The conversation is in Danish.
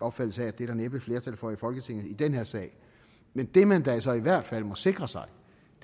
opfattelse af at det er der næppe flertal for i folketinget i den her sag men det man da så i hvert fald må sikre sig